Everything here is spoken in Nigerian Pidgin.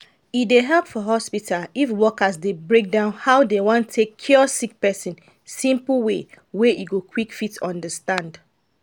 e dey help for hospital if worker dey break down how dem wan take cure sick person simple way wey e go quick fit understand